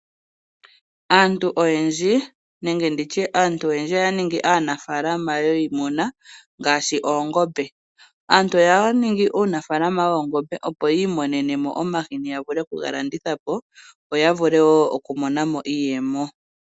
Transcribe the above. Aantu oyendji oya ningi aanafaalama yiimuna ngaashi oongombe . Aantu ohaya ningi uunafaalama woongombe opo yiimonenemo omahini ,yavulepo okugalandithapo, opo yavule woo okumonamo iiyemo.